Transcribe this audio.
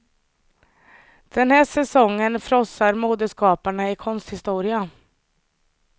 Den här säsongen frossar modeskaparna i konsthistoria.